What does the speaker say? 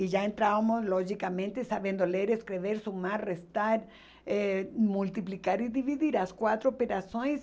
E já entrávamos logicamente sabendo ler, escrever, sOmar, restar, eh multiplicar e dividir as quatro operações.